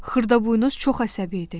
Xırdaboynuz çox əsəbi idi.